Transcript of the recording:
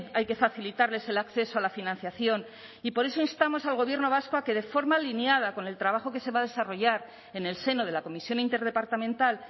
hay que facilitarles el acceso a la financiación y por eso instamos al gobierno vasco a que de forma alineada con el trabajo que se va a desarrollar en el seno de la comisión interdepartamental